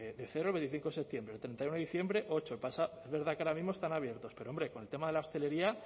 de cero el veinticinco de septiembre el treinta y uno de diciembre ocho es verdad que ahora mismo están abiertos pero hombre con el tema de la hostelería